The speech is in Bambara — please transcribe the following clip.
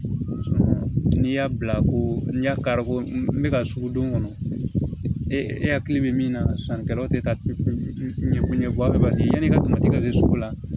N'i y'a bila ko n'i y'a kari ko n bɛ ka sugu don kɔnɔ e hakili bɛ min na sannikɛlaw tɛ ka ɲɛ yanni i ka to ka kɛ sugu la